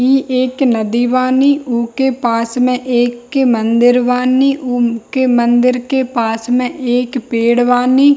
इ एक नदी बानी उके पास में एक के मंदिर बानी उ के मंदिर के पास में एक पेड़ बानी।